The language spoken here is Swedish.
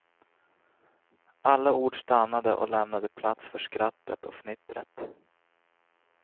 Alla ord stannade och lämnade plats för skrattet och fnittret.